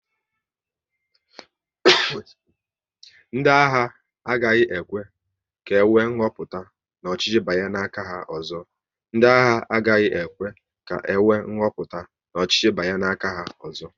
Ndị agha agaghị ekwe ka enwe nhoputa n'ọchịchị banye n'aka ha ọzọ